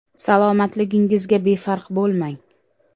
Salomatligingizga befarq bo‘lmang.